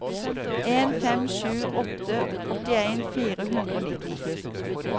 en fem sju åtte åttien fire hundre og nitti